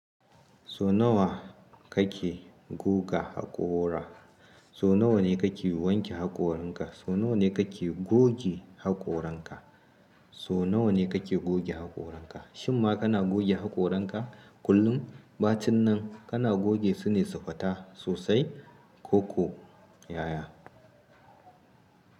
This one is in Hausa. So nawa kake guga haƙora? So nawa ne kake wanke haƙoranka? So nawa ne kake goge haƙoranka? So nawa ne kake goge haƙoranka? Shimma kana goge haƙoranka kullum, ba cin nan kana goge su ne su fita sosai ko ko yaya.